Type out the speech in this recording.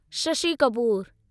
Shashi Kapoor